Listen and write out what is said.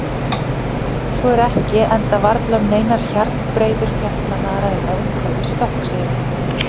Svo er ekki enda varla um neinar hjarnbreiður fjallanna að ræða umhverfis Stokkseyri.